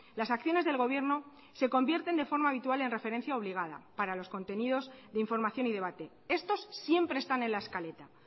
las acciones del gobierno se convierten de forma habitual en referencia obligada para los contenidos de información y debate estos siempre están en la escaleta